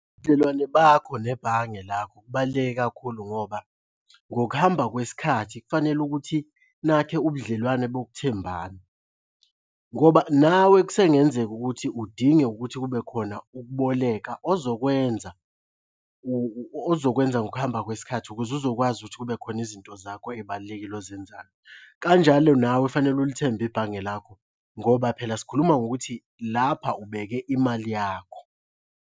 Ubudlelwane bakho nebhange lakho kubaluleke kakhulu ngoba ngokuhamba kwesikhathi kufanele ukuthi nakhe ubudlelwane bokuthembana, ngoba nawe kusengenzeka ukuthi udinge ukuthi kube khona ukuboleka ozokwenza ozokwenza ngokuhamba kwesikhathi ukuze uzokwazi ukuthi kube khona izinto zakho ey'balulekile ozenzayo. Kanjalo nawe fanele ulithembe ibhange lakho ngoba phela sikhuluma ngokuthi lapha ubeke imali yakho.